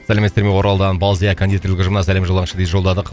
сәлеметсіздер ме оралдан балзия кондитерлік ұжымына сәлем жолдаңызшы дейді жолдадық